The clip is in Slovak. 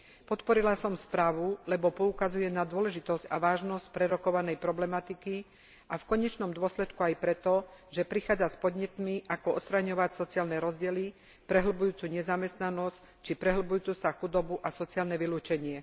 Podporila som správu, lebo poukazuje na dôležitosť a vážnosť prerokovanej problematiky, a v konečnom dôsledku aj preto, že prichádza s podnetmi, ako odstraňovať sociálne rozdiely, prehlbujúcu nezamestnanosť či prehlbujúcu sa chudobu a sociálne vylúčenie.